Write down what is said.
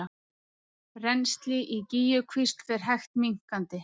Rennsli í Gígjukvísl fer hægt minnkandi